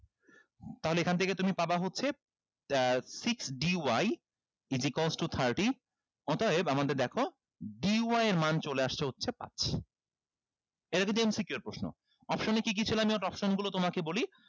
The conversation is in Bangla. তাহলে এখান থেকে তুমি পাবা হচ্ছে আহ six d y eziquels to thirty অতএব আমাদের দেখো d y এর মান চলে আসছে হচ্ছে পাচ্ছি এটা কিন্তু MCQ এর প্রশ্ন option এ কি কি ছিল আমি option গুলো তোমাকে বলি